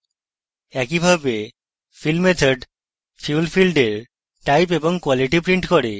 একইভাবে fill method fuel ফীল্ডের type এবং কোয়ালিটি print করে